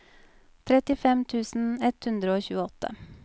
trettifem tusen ett hundre og tjueåtte